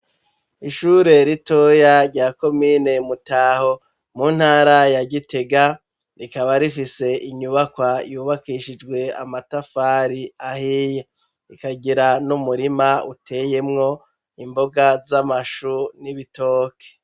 Ishure ritoya rya komine Mutaho, mu ntara ya Gitega, rikaba rifise inyubakwa yubakishijwe amatafari ahiye. Ikagira n'umurima uteyemwo imboga z'amashu n'ibitoke.